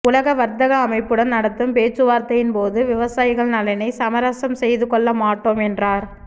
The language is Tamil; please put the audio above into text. உலக வர்த்தக அமைப்புடன் நடத்தும் பேச்சுவார்த்தையின்போது விவசாயிகள் நலனை சமரசம் செய்துகொள்ள மாட்டோம் என்றார்